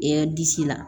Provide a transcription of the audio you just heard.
E disi la